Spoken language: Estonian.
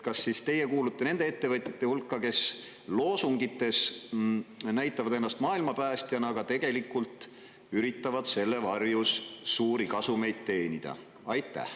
Kas teie kuulute nende ettevõtjate hulka, kes loosungites näitavad ennast maailma päästjana, aga tegelikult üritavad selle varjus suuri kasumeid teenida?